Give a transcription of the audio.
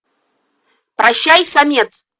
прощай самец